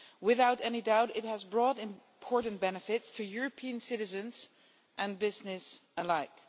Without any doubt, it has brought important benefits to European citizens and businesses alike.